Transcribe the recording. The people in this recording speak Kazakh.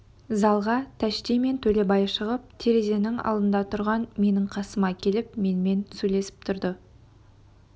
залға тәшти мен төлебай шығып терезенің алдында тұрған менің қасыма келіп менімен сөйлесіп тұрды